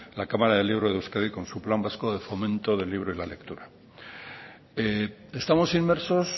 la cámara del libro de euskadi con su plan vasco de fomento del libro y la lectura estamos inmersos